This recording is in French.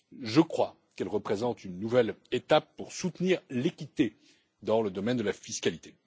Je crois qu'elle représente une nouvelle étape pour soutenir l'équité dans le domaine de la fiscalité.